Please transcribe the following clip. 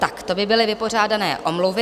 Tak, to by byly vypořádané omluvy.